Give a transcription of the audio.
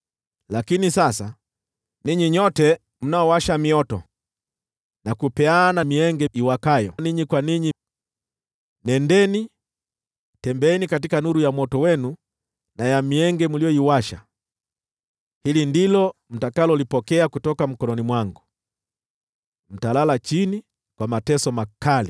Lakini sasa, ninyi nyote mnaowasha mioto, na kupeana mienge iwakayo ninyi kwa ninyi, nendeni, tembeeni katika nuru ya moto wenu na ya mienge mliyoiwasha. Hili ndilo mtakalolipokea kutoka mkononi mwangu: Mtalala chini kwa mateso makali.